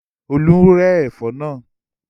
Olú ń rẹ́ ẹ̀fọ́ náà.